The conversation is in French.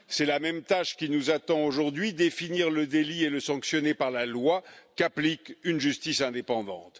La même tâche nous attend aujourd'hui définir le délit et le sanctionner par la loi, qu'applique une justice indépendante.